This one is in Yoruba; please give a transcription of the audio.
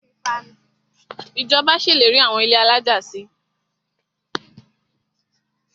Ìjọba ṣèlérí àwọn ilé alájà si.